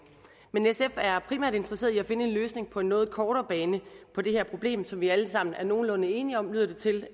men sf er primært interesseret i at finde en løsning på noget kortere bane på det her problem som vi alle sammen er nogenlunde enige om lyder det til